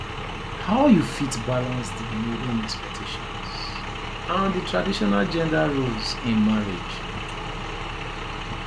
how you fit balance di modern expectations and di traditional gender roles in marriage